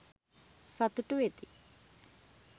සතුටු වෙති.